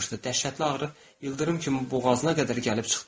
Dəhşətli ağrı ildırım kimi boğazına qədər gəlib çıxdı.